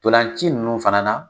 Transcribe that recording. Ntolan ci nunnu fana na